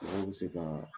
Mɔgɔw bɛ se ka